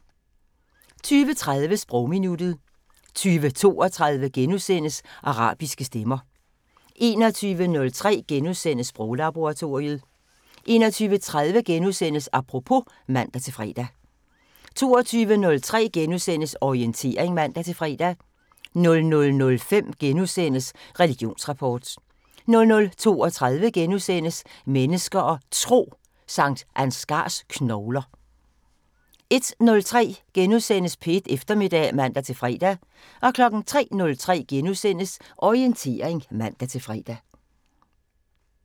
20:30: Sprogminuttet 20:32: Arabiske stemmer * 21:03: Sproglaboratoriet * 21:30: Apropos *(man-fre) 22:03: Orientering *(man-fre) 00:05: Religionsrapport * 00:32: Mennesker og Tro: Sankt Ansgars knogler * 01:03: P1 Eftermiddag *(man-fre) 03:03: Orientering *(man-fre)